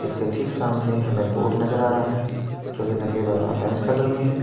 इसके ठीक सामने हमे बोर्ड नजर आ रहा है जो कि सफेद और ऑरेंज कलर में है।